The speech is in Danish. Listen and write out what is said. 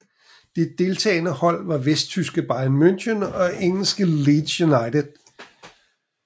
De deltagende hold var vesttyske Bayern München og engelske Leeds United